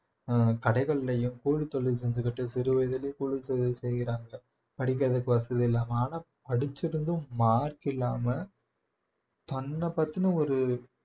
ஆஹ் கடைகள்லயும் கூலித்தொழில் செஞ்சுகிட்டு சிறுவயதிலேயே கூலித்தொழில் செய்யறாங்க படிக்கறதுக்கு வசதி இல்லாம ஆனா படிச்சிருந்தும் mark இல்லாம தன்னைப் பத்தின ஒரு